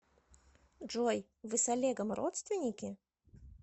джой вы с олегом родственники